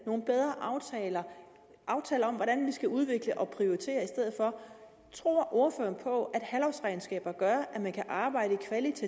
nogle bedre aftaler om hvordan vi skal udvikle og prioritere i stedet for tror ordføreren på at halvårsregnskaber gør at man kan arbejde